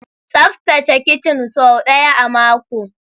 Tsaftace kicin sau ɗaya a mako!